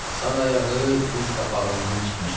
Sağ ayağı diz qapağından çıxmışdı.